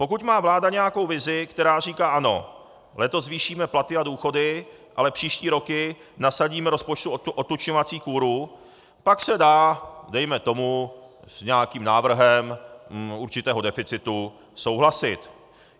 Pokud má vláda nějakou vizi, která říká "ano, letos zvýšíme platy a důchody, ale příští roky nasadíme rozpočtu odtučňovací kúru", pak se dá, dejme tomu, s nějakým návrhem určitého deficitu souhlasit.